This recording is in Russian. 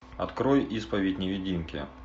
открой исповедь невидимки